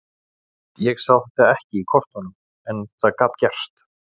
Ég sá þetta ekki í kortunum en það gat gerst.